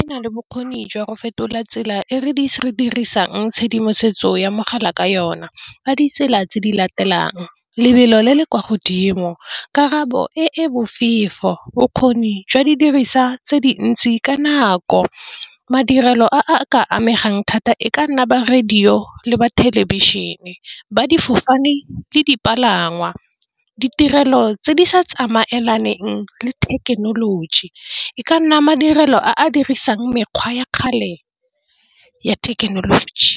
ena le bokgoni jwa go fetola tsela e re di se re dirisang tshedimosetso ya mogala ka yona. Ka ditsela tse di latelang lebelo le le kwa godimo karabo e bofefo. Bokgoni jwa didiriswa tse dintsi ka nako madirelo a ka amegang thata e ka nna ba radio le ba thelebišhene ba difofane le dipalangwa. Ditirelo tse di sa tsamaelane teng le thekenoloji e ka nna madirelo a dirisang mekgwa ya kgale ya thekenoloji.